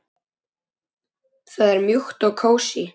Það er mjúkt og kósí.